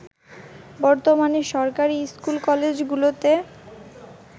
বর্তমানে সরকারী স্কুল-কলেজগুলোতে